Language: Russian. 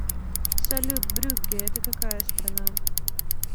салют брюгге это какая страна